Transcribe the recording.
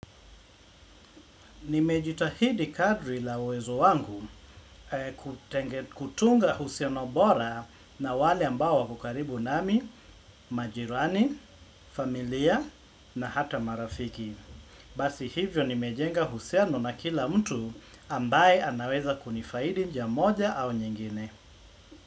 Nimejitahidi kadri la uwezo wangu kutunga uhusiano bora na wale ambao wako karibu nami, majirani, familia na hata marafiki. Basi hivyo nimejenga uhusiano na kila mtu ambaye anaweza kunifahidi njia moja au nyingine.